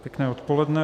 Pěkné odpoledne.